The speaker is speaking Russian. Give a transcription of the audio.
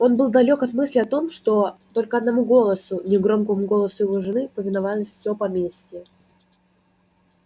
он был далёк от мысли о том что только одному голосу негромкому голосу его жены повиновалось все в поместье